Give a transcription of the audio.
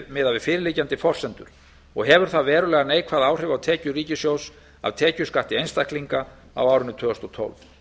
miðað við fyrirliggjandi forsendur og hefur það verulega neikvæð áhrif á tekjur ríkissjóðs af tekjuskatti einstaklinga á árinu tvö þúsund og tólf